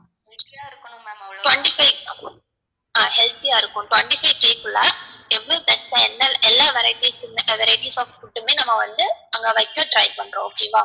twenty five ஹான் healthy ஆ இருக்கும் twenty five குள்ள எவ்ளோ எல்லா varieties of food மே நம்ம வந்து அங்க வைக்க try பண்றோம் okay ஆ